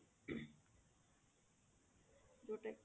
ଯୋଊଟା